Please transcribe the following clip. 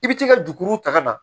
I bi t'i ka juru ta ka na